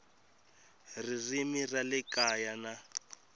ririmi ra le kaya na